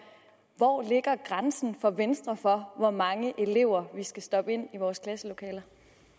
hvor ligger grænsen for venstre for hvor mange elever vi skal stoppe ind i vores klasselokaler